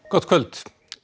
gott kvöld